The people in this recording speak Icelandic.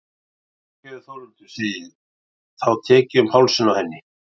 Fyrirgefðu Þórhildur, segi ég þá og tek um hálsinn á henni.